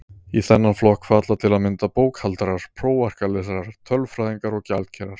Í þennan flokk falla til að mynda bókhaldarar, prófarkalesarar, tölfræðingar og gjaldkerar.